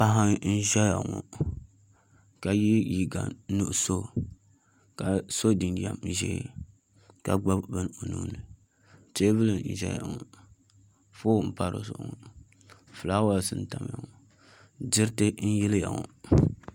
Paɣa n ʒɛya ŋo ka yɛ liiga nuɣso ka so jinjɛm ʒiɛ ka gbuni bin o nuuni teebuli n ʒɛya ŋo foon n pa di zuɣu ŋo fulaawaasi n tamya ŋo diriti n yiliya ŋo